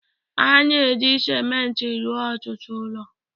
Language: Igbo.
A na-eji ciment rụọ ọtụtụ ụlọ